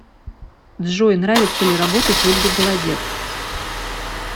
джой нравится ли работать ольге голодец